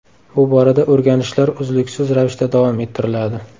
Bu borada o‘rganishlar uzluksiz ravishda davom ettiriladi.